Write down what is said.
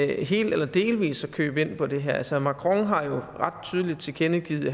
helt eller delvis at købe ind på det her altså macron har jo ret tydeligt tilkendegivet